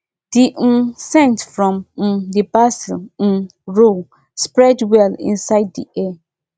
the um scent from um the basil um row spread well inside the air